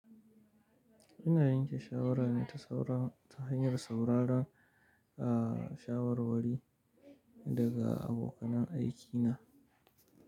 Ina yanke shawara ne ta hanyar sauraron shawarwari daga abokanan aiki na.